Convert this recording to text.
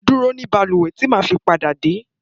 Dúró ní bàlúwè tí màá fi pádà dé.